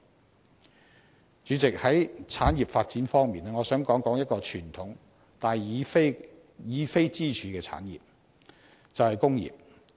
代理主席，在產業發展方面，我想談談一個傳統但已非支柱的產業，便是工業。